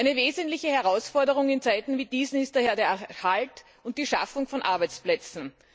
Eine wesentliche Herausforderung in Zeiten wie diesen ist daher der Erhalt und die Schaffung von Arbeitsplätzen.